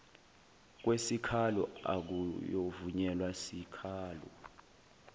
kwesikhalo akuyovunyelwa sikhalo